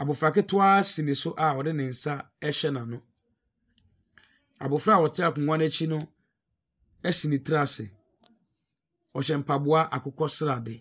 Abofra ketewa si no so a ɔde ne nsa rehyɛ n'ano. Abofra a ɔte akonnwa no akyi no asi ne ti ase. Ɔhyɛ mpaboa akokɔsradeɛ.